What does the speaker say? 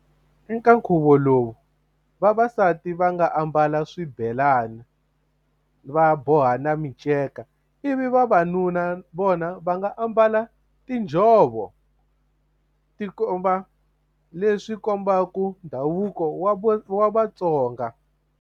Eka nkhuvo lowu vavasati va nga ambala swibelani va boha na miceka ivi vavanuna vona va nga ambala tinjhovo ti komba leswi kombaka ndhavuko wa wa Vatsonga.